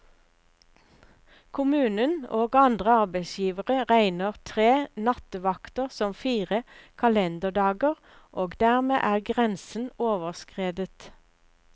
Kommunen og andre arbeidsgivere regner tre nattevakter som fire kalenderdager, og dermed er grensen overskredet.